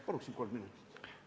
Palun kolm minutit juurde!